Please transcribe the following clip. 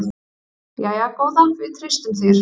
Jæja góða, við treystum þér.